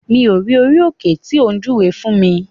Mi ò rí orí òkè tí o júwe fún mi.